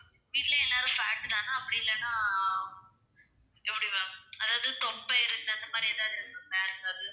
வீட்ல எல்லாரும் fat தானா அப்படியில்லன்னா எப்படி ma'am அதாவது தொப்பை இருக்கு அந்த மாதிரி எதாவது இருக்கா ma'am